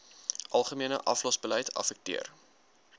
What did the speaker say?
algemene aflosbeleid affekteer